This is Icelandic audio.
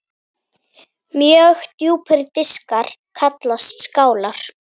Mjög djúpir diskar kallast skálar.